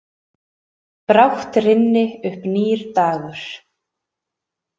Brátt rynni upp nýr dagur.